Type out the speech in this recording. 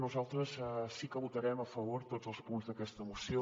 nosaltres sí que votarem a favor tots els punts d’aquesta moció